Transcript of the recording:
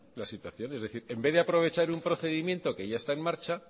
la situación es decir en vez de aprovechar un procedimiento que ya está en marcha